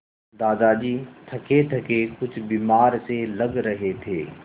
दादाजी थकेथके कुछ बीमार से लग रहे थे